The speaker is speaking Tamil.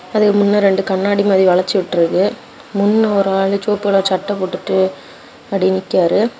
அதுக்கு முன்ன ரெண்டு கண்ணாடி மாரி வளச்சு விட்டுருக்கு. முன்ன ஒரு ஆளு சொவப்பு கலர் சட்ட போட்டுட்டு அப்டியே நிக்காரு.